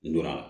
N donna